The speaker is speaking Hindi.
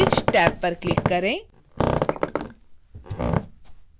bridge टैब पर click करें